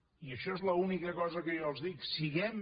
i això és l’única cosa que jo els dic siguem